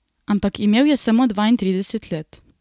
Ampak imel je samo dvaintrideset let.